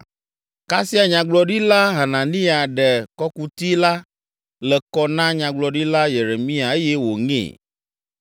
Kasia Nyagblɔɖila Hananiya ɖe kɔkuti la le kɔ na Nyagblɔɖila Yeremia eye wòŋee.